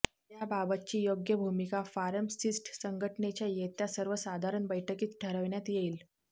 याबाबतची योग्य भूमिका फार्मसिस्ट संघटनेच्या येत्या सर्वसाधारण बैठकीत ठरविण्यात येईल